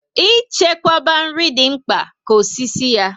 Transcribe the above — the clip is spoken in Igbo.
I chekwaba nri dị mkpa ka osisi ya